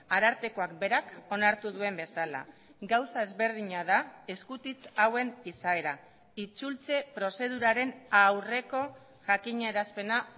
arartekoak berak onartu duen bezala gauza ezberdina da eskutitz hauen izaera itzultze prozeduraren aurreko jakinarazpena